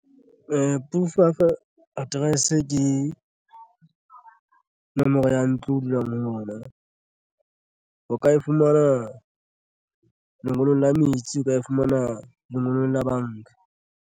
Proof of address ke nomoro ya ntlo o dulang ho ona. O ka e fumana lengolong la metsi. O ka e fumana mononong la banka.